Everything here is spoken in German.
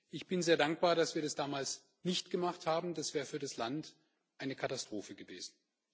Ich bin sehr dankbar, dass wir das damals nicht gemacht haben, das wäre für das Land eine Katastrophe gewesen.